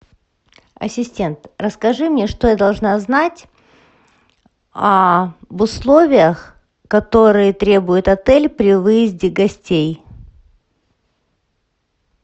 ассистент расскажи мне что я должна знать об условиях которые требует отель при выезде гостей